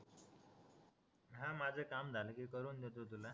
हा माझा काम झाला कि करून देतो तुला